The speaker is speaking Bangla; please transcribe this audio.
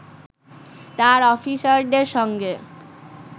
তার অফিসারদের সঙ্গে